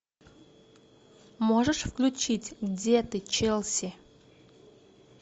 можешь включить где ты челси